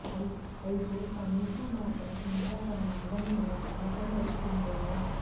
అయితే అమీషా మాత్రం ఇంకా తన అందం మీద నమ్మకం పెట్టుకుందేమో